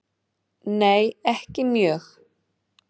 Nei ekki mjög.